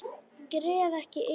Gref ekki yfir það.